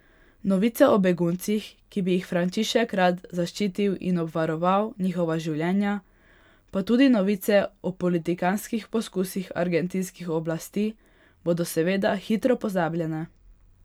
Novice o beguncih, ki bi jih Frančišek rad zaščitil in obvaroval njihova življenja, pa tudi novice o politikantskih poskusih argentinskih oblasti bodo seveda hitro pozabljene.